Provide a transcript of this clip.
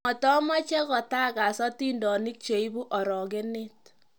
matameche kitakas atindonik che ibu orokenet